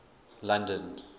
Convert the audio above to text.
london